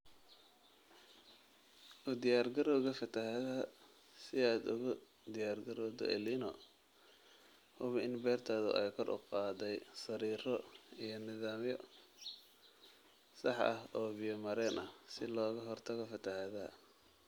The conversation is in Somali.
"U Diyaargarowga Fatahaada Si aad ugu diyaargarowdo El Niño , hubi in beertaadu ay kor u qaaday sariiro & nidaamyo sax ah oo biyo-mareen ah si looga hortago fatahaadda.